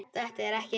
Þetta er ekki rétt.